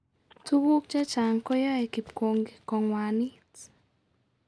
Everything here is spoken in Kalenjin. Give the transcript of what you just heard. Tuguk chechang koyoe kipkongi kong'wanit